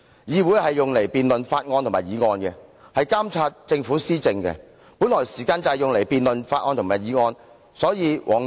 議會的職權是辯論法案和議案，以及監察政府施政，時間本來就是作這些用途。